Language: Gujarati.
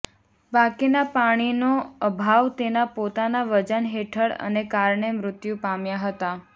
બાકીના પાણીનો અભાવ તેના પોતાના વજન હેઠળ અને કારણે મૃત્યુ પામ્યા હતા